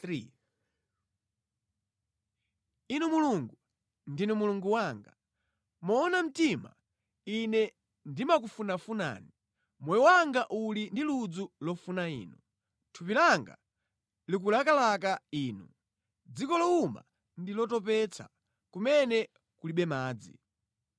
Inu Mulungu, ndinu Mulungu wanga, moona mtima ine ndimakufunafunani; moyo wanga uli ndi ludzu lofuna Inu, thupi langa likulakalaka inu, mʼdziko lowuma ndi lotopetsa kumene kulibe madzi.